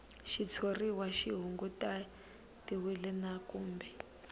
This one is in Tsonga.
xitshuriwa xi kunguhatiwile na kumbe